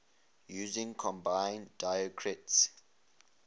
using combining diacritics